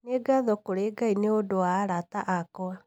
Nĩ ngatho kũrĩ Ngai nĩ ũndũ wa arata akwa.